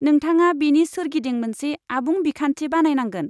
नोंथाङा बेनि सोरगिदिं मोनसे आबुं बिखान्थि बानायनांगोन।